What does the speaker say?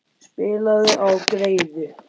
Spilaðu á greiðu.